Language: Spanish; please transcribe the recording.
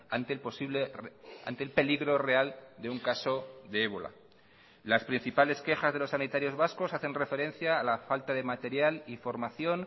ante el posible ante el peligro real de un caso de ébola las principales quejas de los sanitarios vascos hacen referencia a la falta de material y formación